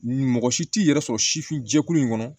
Mɔgɔ si t'i yɛrɛ sɔrɔ sifin jɛkulu in kɔnɔ